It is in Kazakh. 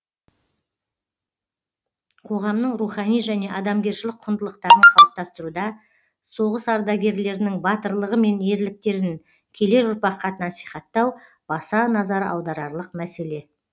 қоғамның рухани және адамгершілік құндылықтарын қалыптастыруда соғыс ардагерлерінің батырлығы мен ерліктерін келер ұрпаққа насихаттау баса назар аударарлық мәселе